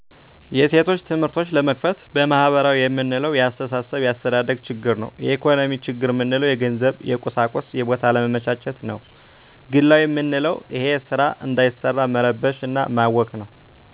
የሴቶች ትምህርቶች ለመክፈት በማህበራዊ የምንለው የአስተሳሰብ የአስተዳደግ ችግር ነው የኢኮኖሚ ችግር ምንለው የገንዘብ የቁሳቁስና የቦታ አለመመቻቸት ነዉ ግላዊ መንለዉ እሄ ስራ እንዳይሰራ መረበሽ እና ማወክ ነው